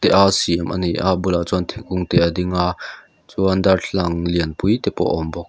te a siam ania a bulah chuan thingkung te a ding a chuan darthlalang lianpui te pawh a awm.